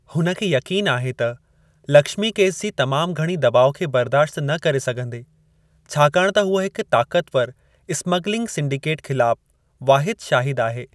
हुन खे यक़ीनु आहे त लक्ष्मी केस जी तमामु घणी दॿाउ खे बर्दाश्त न करे सघंदे छाकाणि त हूअ हिक ताक़तवर स्मिगलिंग सिंडीकेट ख़िलाफ़ु वाहिदु शाहिदु आहे।